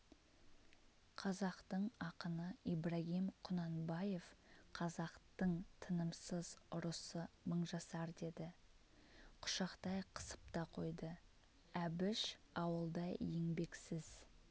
қазақтың ақыны ибрагим құнанбаев қазақтың тынымсыз ұрысы мыңжасар деді құшақтай қысып та қойды әбіш ауылда еңбексіз